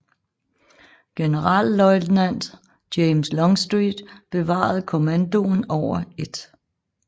Generalløjtnant James Longstreet bevarede kommandoen over 1